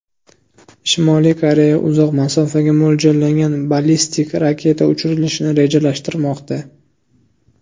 Shimoliy Koreya uzoq masofaga mo‘ljallangan ballistik raketa uchirilishini rejalashtirmoqda.